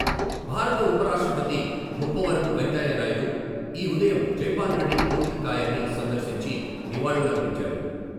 భారత ఉపరాష్ట్రపతి ముప్పవరపు వెంకయ్యనాయుడు ఈ ఉదయం జైపాల్రెడ్డి భౌతికకాయాన్ని సందర్శించి నివాళులర్పించారు.